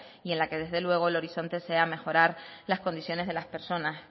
y en la que desde luego el horizonte sea mejorar las condiciones de las personas